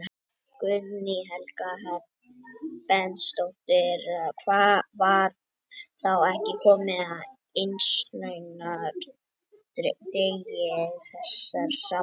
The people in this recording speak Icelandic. Guðný Helga Herbertsdóttir: Var þá ekki komið að innlausnardegi þessara samninga?